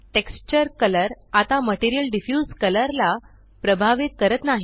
texture colour आता material diffuse colour ला प्रभावित करत नाही